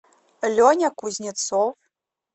леня кузнецов